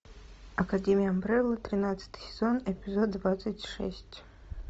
академия амбрелла тринадцатый сезон эпизод двадцать шесть